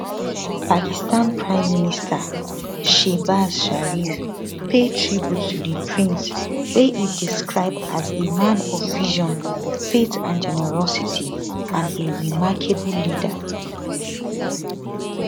pakistan prime minister shehbaz sharif pay tribute to di prince wey e describe as a man of vision faith and generosity and a remarkable leader